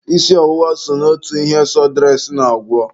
Isi ọwụwa so n'otu ihe sọdụres na-agwọ.